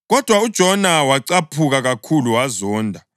Kodwa uJona wacaphuka kakhulu wazonda.